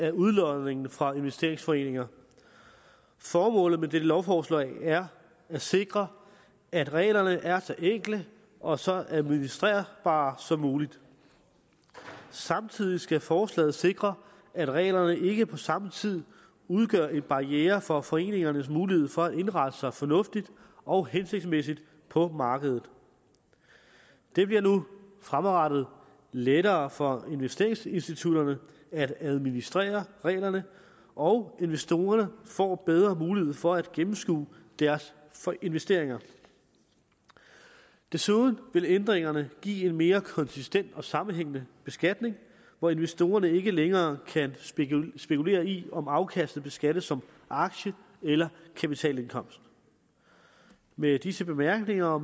af udlodningen fra investeringsforeninger formålet med dette lovforslag er at sikre at reglerne er så enkle og så administrerbare som muligt samtidig skal forslaget sikre at reglerne ikke på samme tid udgør en barriere for foreningernes mulighed for at indrette sig fornuftigt og hensigtsmæssigt på markedet det bliver nu fremadrettet lettere for investeringsinstitutterne at administrere reglerne og investorerne får bedre mulighed for at gennemskue deres investeringer desuden vil ændringerne give en mere konsistent og sammenhængende beskatning hvor investorerne ikke længere kan spekulere i om afkastet beskattes som aktie eller kapitalindkomst med disse bemærkninger og